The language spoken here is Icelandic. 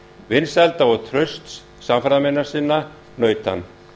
vinsælda og trausts samferðarmanna sinna naut hann